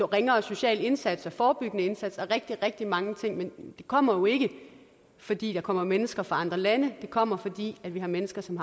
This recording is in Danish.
ringere sociale indsatser og forebyggende indsatser og rigtig rigtig mange ting men det kommer jo ikke fordi der kommer mennesker fra andre lande det kommer fordi vi har mennesker som